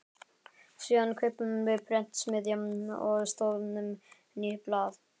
Síðan kaupum við prentsmiðju og stofnum nýtt blað.